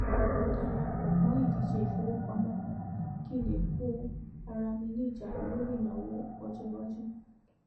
mo dara pò mó ìdíje ìfowópamọ kan kí n lè kó ara mi ní ìjánu lórí ìnáwó ọjọìwájú